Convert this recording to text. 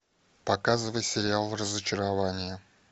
показывай сериал разочарование